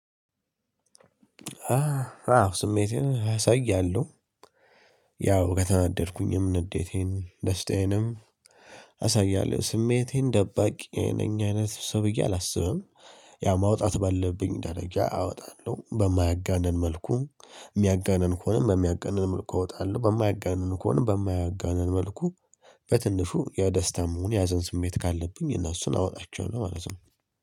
አዎ ስሜቴን እሰያለሁ ያው ከተናደድኩኝም ንዴቴን ደስታዬንም አሳያለሁ ስሜቴን ደባቂ ነኝ አይነት ሰው ብዬ አላስብም። ያው ማውጣት ባለብኝ ደረጃ አወጣለሁ በማያጋንን መልኩ የሚያጋንን ከሆነም በሚያጋንን መልኩ እወጣለሁ በማያጋንን ከሆነም በማያጋንን መልኩ። በትንሹ የደስታም ሆን የሀዘን ስሜት ካለብኝ እነሱን አወጣቸዋለሁ ማለት ነው